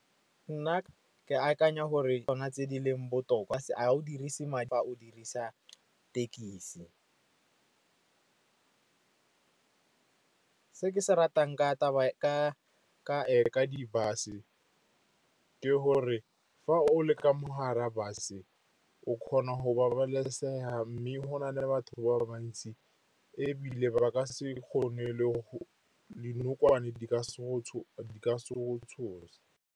Nna ke akanya gore ke tsona tse di leng botoka, ga o dirise madi a o dirisa thekisi. Se ke se ratang ka di-bus-e ke gore fa o le ka mo gare bus-e o kgona go babalesega, mme go na le batho ba bantsi, ebile ba ka se kgone dinokwane di ka se go tshose.